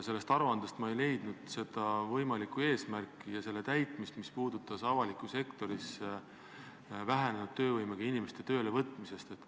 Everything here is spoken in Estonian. Sellest aruandest ma ei leidnud võimalikku eesmärki ja selle täitmise kava, mis puudutaks vähenenud töövõimega inimeste töölevõtmist avalikus sektoris.